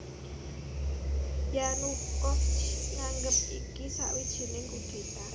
Yanukovych nganggep iki sawijining kudéta